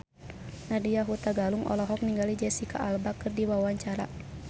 Nadya Hutagalung olohok ningali Jesicca Alba keur diwawancara